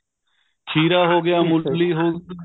ਖੀਰਾ ਹੋ ਗਿਆ ਮੁੱਲੀ ਹੋ ਗਈ